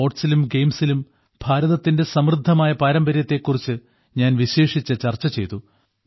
സ്പോർട്സിലും ഗയിംസിലും ഭാരതത്തിന്റെ സമൃദ്ധമായ പാരമ്പര്യത്തെ കുറിച്ചു ഞാൻ വിശേഷിച്ചു ചർച്ച ചെയ്തു